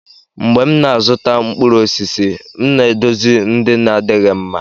mgbe m na-azụta mkpụrụ osisi, m na-edozi ndị na-adịghị mma.